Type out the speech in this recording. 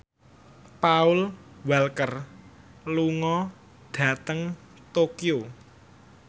Paul Walker lunga dhateng Tokyo